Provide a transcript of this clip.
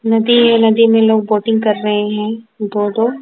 नदी है नदी में लोग बोटिंग कर रहे हैं दो दो।